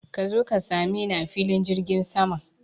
Ka zo ka sameni a filin jirgin saman.